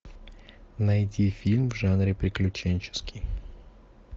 найти фильм в жанре приключенческий